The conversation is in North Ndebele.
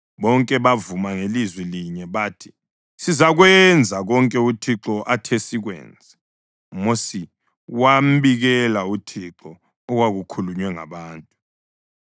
Bonke bavuma ngalizwi linye bathi, “Sizakwenza konke uThixo athe sikwenze.” UMosi wambikela uThixo okwakukhulunywe ngabantu.